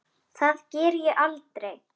Það geri ég aldrei